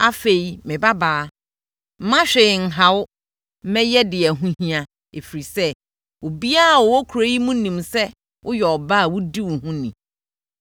Afei, me babaa, mma hwee nha wo. Mɛyɛ deɛ ɛho hia, ɛfiri sɛ, obiara a ɔwɔ kuro yi mu nim sɛ woyɛ ɔbaa a wodi wo ho ni.